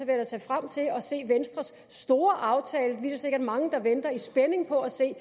da se frem til at se venstres store aftale vi er da sikkert mange der venter i spænding på at se